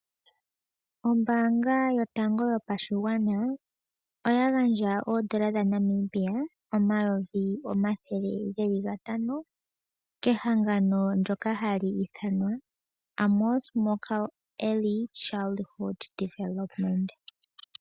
Ombaanga yotango yopashigwana oya gandja oodola dhaNamibia omayovi omathele gatano Kehangano ndyoka hali ithanwa Amos Meerkat Early Childhood Development.